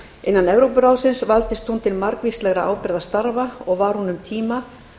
innan evrópuráðsins valdist hún til margvíslegra ábyrgðarstarfa og var hún um tíma